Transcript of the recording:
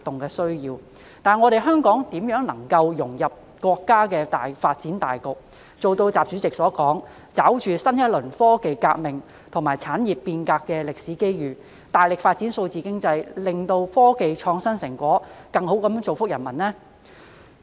可是，香港如何能夠融入國家的發展大局，做到習主席所說的"抓住新一輪科技革命和產業變革的歷史機遇，大力發展數字經濟"，從而"使科技創新成果更好造福各國人民"？